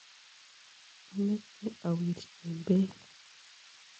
Ameche awirchin beek.